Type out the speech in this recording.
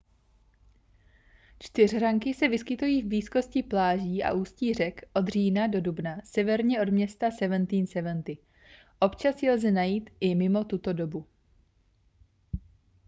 čtyřhranky se vyskytují v blízkosti pláží a ústí řek od října do dubna severně od města seventeen seventy občas je lze najít i mimo tuto dobu